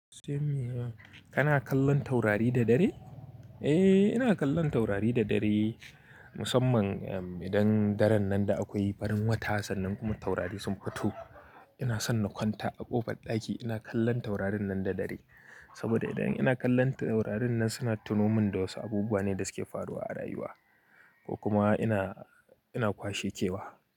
Kana kallon taurari da dare? Eh, ina kallon taurari da dare. Musamman idan daren nan da akwai farin wata sannan kuma taurari sun fito. Ina son na kwanta a ƙofar ɗaki ina kallon taurarin nan da dare. Saboda idan ina kallon taurarin nan suna tuno min da wasu abubuwa ne da suke faruwa a rayuwa ko kuma ina, ina kwashe kewa.